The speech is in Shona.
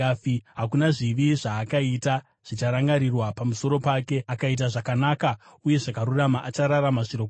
Hakuna zvivi zvaakaita zvicharangarirwa pamusoro pake. Akaita zvakanaka uye zvakarurama; achararama zvirokwazvo.